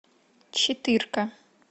четырка